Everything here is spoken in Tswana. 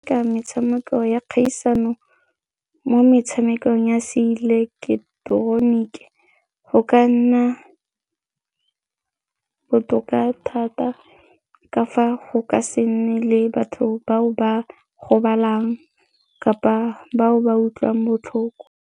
Ka metshameko ya kgaisano mo metshamekong ya seileketeroniki go ka nna botoka thata ka fa go ka se nne le batho bao ba gobalang kapa bao ba utlwang botlhoko.